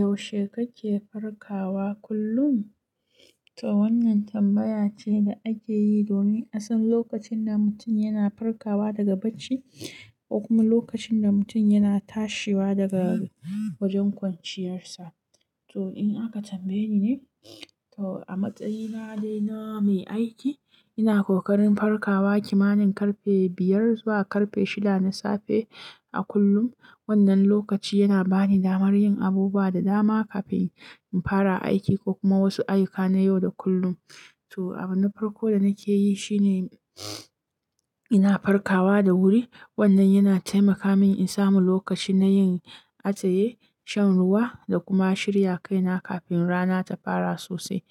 Yaushe kake farkawa kullum? To wannan tambaya ce da ake yi domin a san lokacin da mutum yana farkawa daga bacci ko kuma lokacin da mutum yana tashiwa daga wajen kwanciyarsa. To in aka tambaye ni ne, to a matsayina dai na mai aiki, ina ƙoƙarin farkawa kimanin karfe biyar zuwa karfe shida na safe a kullum. Wannan lokaci yana bani damar yin abubuwa da dama kafin in fara aiki ko kuma wasu ayyuka na yau da kullum. To abu na farko da nake yi shine ina farkawa da wuri. Wannan yana taimaka min in samu lokaci na yin atsaye, shan ruwa da kuma shirya kaina kafin rana ta fara sosai.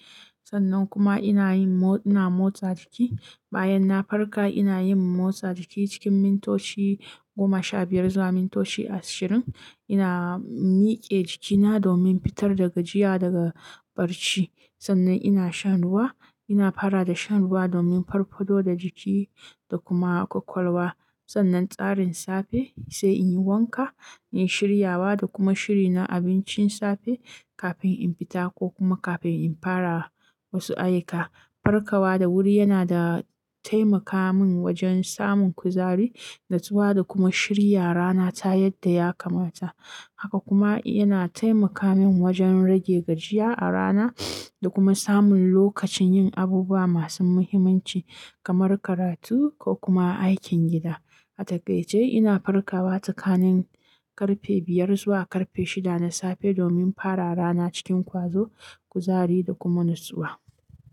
Sannan kuma ina yin mo-- ina motsa jiki. Bayan na farka, ina yin motsa jiki cikin mintoci goma sha biyar zuwa mintoci ashirin. Ina mike jikina domin fitar da gajiya daga barci. Sannan ina shan ruwa. Ina fara da shan ruwa domin farfado da jiki da kuma ƙwaƙwalwa. Sannan tsarin safe sai in yi wanka, in shirya wa da kuma shiri na abincin safe kafin in fita ko kuma kafin in fara wasu ayyuka. Farkawa da wuri yana da taimaka min wajen samun kuzari, natsuwa da kuma shirya rana ta yadda ya kamata. Haka kuma yana taimaka min wajen rage gajiya a rana da kuma samun lokacin yin abubuwa masu muhimmanci kamar karatu ko kuma aikin gida. A takaice ina farkawa tsakanin karfe biyar zuwa karfe shida na safe domin fara rana cikin ƙwazo, kuzari da kuma natsuwa.